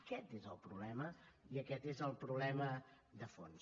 aquest és el problema i aquest és el problema de fons